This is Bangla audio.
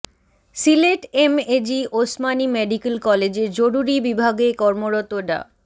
সিলেট এমএজি ওসমানী মেডিক্যাল কলেজের জরুরি বিভাগে কর্মরত ডা